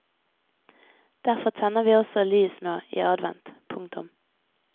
Derfor tenner vi også lys nå i advent. punktum